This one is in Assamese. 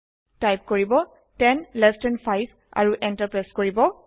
টাইপ কৰিব 10এলটি 5 আৰু এন্টাৰ প্ৰেছ কৰিব